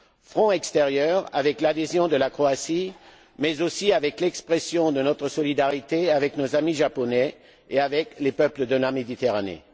Front extérieur, avec l'adhésion de la Croatie mais, aussi, avec l'expression de notre solidarité avec nos amis japonais et avec les peuples de la Méditerranée.